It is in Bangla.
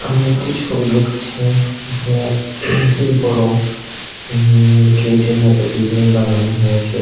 আমি একটি ছবি দেখছি যেখানে বড় উমম গেটের মতো বিল্ডিং বানানো হয়েছে।